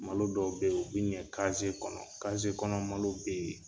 Malo dɔw bɛ yen u bɛ ɲɛ kɔnɔ kɔnɔ malo bɛ yen.